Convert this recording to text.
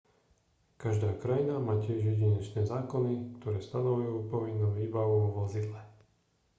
každá krajina má tiež jedinečné zákony ktoré stanovujú povinnú výbavu vo vozidle